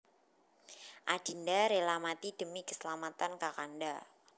Adinda rela mati demi keselamatan Kakanda